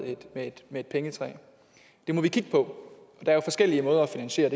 et pengetræ det må vi kigge på og der er jo forskellige måder at finansiere